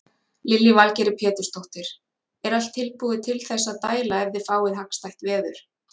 Lillý Valgerður Pétursdóttir: Er allt tilbúið til þess að dæla ef þið fáið hagstætt veður?